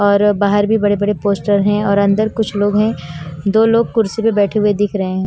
और बाहर भी बड़े बड़े पोस्टर हैं और अंदर कुछ लोग हैं दो लोग कुर्सी पे बैठे हुए दिख रहे हैं।